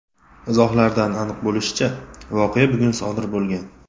Izohlardan aniq bo‘lishicha, voqea bugun sodir bo‘lgan.